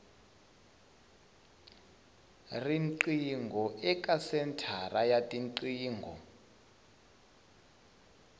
riqingho eka senthara ya tiqingho